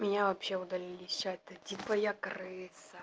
меня вообще удалили из чата типо я крыса